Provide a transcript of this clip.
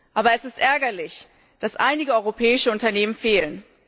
Aber es ist ärgerlich, dass einige europäische Unternehmen fehlen.